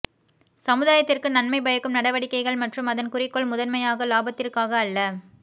சமுதாயத்திற்கு நன்மை பயக்கும் நடவடிக்கைகள் மற்றும் அதன் குறிக்கோள் முதன்மையாக இலாபத்திற்காக அல்ல